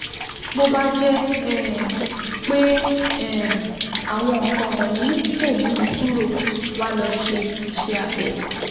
Bó bá jẹ́ um pé um àwọn nǹkan wọ̀nyí kò mú un kúrò, wá lọ ṣe iṣẹ́ abẹ